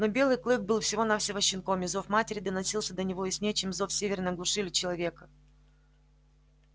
но белый клык был всего навсего щенком и зов матери доносился до него яснее чем зов северной глуши или человека